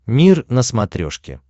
мир на смотрешке